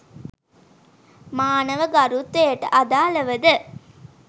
මානව ගරුත්වයට අදාළව ද